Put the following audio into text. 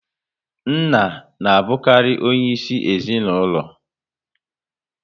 Nna na abukari onye isi ezinaụlọ